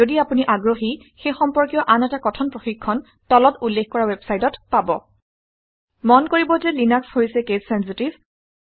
যদি আপুনি আগ্ৰহী সেই সম্পৰ্কীয় আন এটা কথন প্ৰশিক্ষণ তলত উল্লেখ কৰা ৱেবচাইটত পাব মন কৰিব যে লিনাক্স হৈছে কেচ চেনচিটিভ